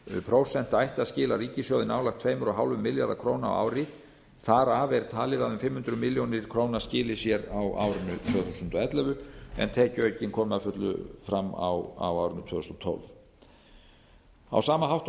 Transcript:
prósent ætti að skila ríkissjóði nálægt tveimur komma fimm milljörðum króna á ári þar af er talið að fimm hundruð milljóna króna skili sér á árinu tvö þúsund og ellefu en tekjuaukinn komi að fullu fram á árinu tvö þúsund og tólf á sama hátt